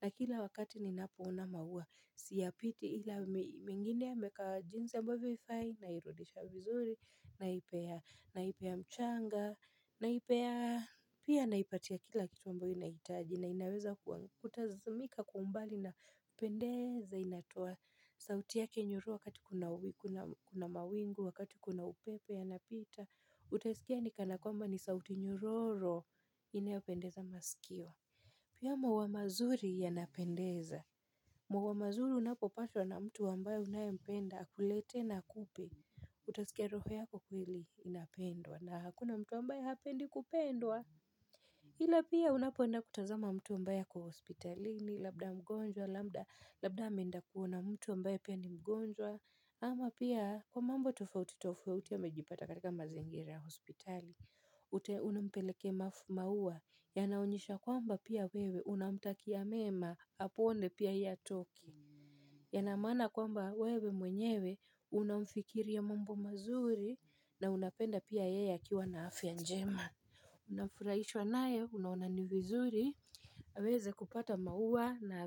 na kila wakati ninapo ona maua siyapiti ila mwingine ameeka jinsi ambvyo havifai nairudisha vizuri naipea naipea mchanga naipea pia naipatia kila kitu ambayo inaitaji na inaweza kutazamika kwa umbali na kupendeza inatoa sauti yake nyororo wakati kuna kuna mawingu wakati kuna upepo yanapita. Utaisikia ni kana kwamba ni sauti nyororo inayopendeza masikio. Pia maua mazuri yanapendeza. Maua mazuri unapopatwa na mtu ambaye unayempenda akuletee na akupe Utasikia roho yako kweli inapendwa na hakuna mtu ambaye hapendi kupendwa ila pia unapoenda kutazama mtu ambaye ako hospitalini labda mgonjwa labda labda ameenda kuona mtu ambaye pia ni mgonjwa ama pia Kwa mambo tofauti tofauti amejipata katika mazingira ya hospitali Uta, unampelekea maua yanaonyesha kwamba pia wewe unamtakia mema apone pia yeye atoke yana maana kwamba wewe mwenyewe unamfikiria mambo mazuri na unapenda pia yeye akiwa na afya njema Unafuraishwa nayo unaona ni vizuri aweze kupata maua na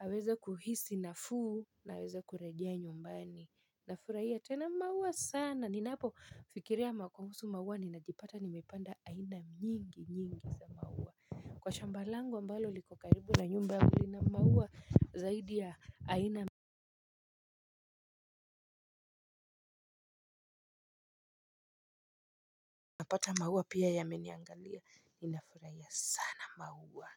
aweze kuhisi nafuu na aweze kurejea nyumbani nafurahia tena maua sana ninapofikiria kuhusu maua ninajipata nimepanda aina nyingi nyingi za maua kwa shamba langu ambalo liko karibu na nyumba yangu lina maua zaidi ya aina napata maua pia yameniangalia ninafuraia sana maua.